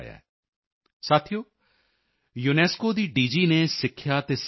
thank you excellency I am happy to interact with you in the 100th Mann Ki Baat programme